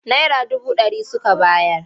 Naira dubu ɗari suka bayar.